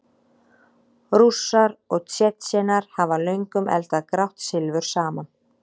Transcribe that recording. Rússar og Tsjetsjenar hafa löngum eldað grátt silfur saman.